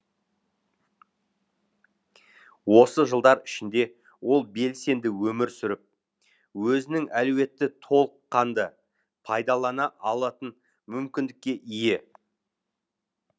осы жылдар ішінде ол белсенді өмір сүріп өзінің әлеуетті толыққанды пайдалана алатын мүмкіндікке ие